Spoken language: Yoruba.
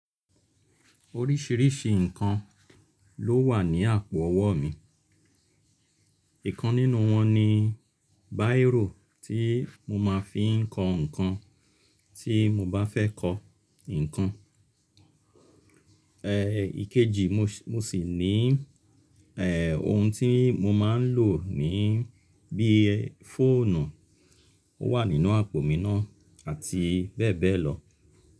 Oríṣìíríṣìí ǹkan ló wà ní àpò ọwọ́ mi. Ìkan nínú wọn ni báìrò tí mo máa ń fi ń kọ ǹkan tí mo bá fẹ́ kọ ǹkan. Ikeji mo sì ní ohun tí mo máa ń lò ni bí i fóònù, ó wà nínú àpò mi náà àti bẹ́ẹ̀ bẹ́ẹ̀ lọ.